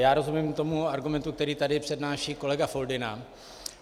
Já rozumím tomu argumentu, který tady přednáší kolega Foldyna.